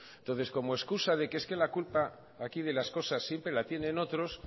entonces como excusa de es que la culpa aquí de las cosas siempre la tienen otros